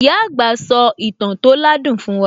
Ìyá àgbà sò ìtàn tó ládùn fún wa